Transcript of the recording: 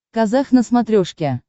казах на смотрешке